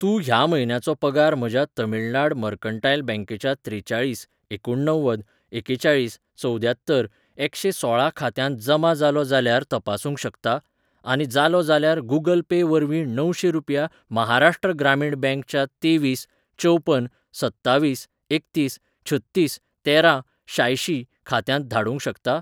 तूं ह्या म्हयन्याचो पगार म्हज्या तमिळनाड मर्कंटायल बँकेच्या त्रेचाळीस एकुणणव्वद एकेचाळीस चवद्यात्तर एकशें सोळा खात्यांत जमा जालो जाल्यार तपासूंक शकता , आनी जालो जाल्यार गूगल पे वरवीं णवशें रुपया महाराष्ट्र ग्रामीण बँक च्या तेवीस चवपन सत्तावीस एकतीस छत्तीस तेरा शांयशीं खात्यांत धाडूंक शकता?